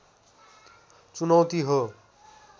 चुनौती हो